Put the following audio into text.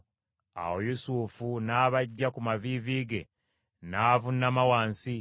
Awo Yusufu n’abaggya ku maviivi ge n’avuunama wansi.